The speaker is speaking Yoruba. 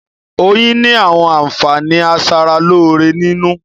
Oyin ni àwọn àǹfààní a sára lóore nínú